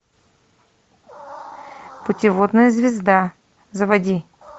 путеводная звезда заводи